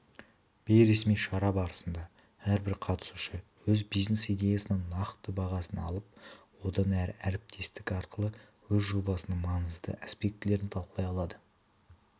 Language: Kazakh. бейресми шара барысында әрбір қатысушы өз бизнес-идеясының нақты бағасын алып одан әрі әріптестік арқылы өз жобасының маңызды аспектілерін талқылай алады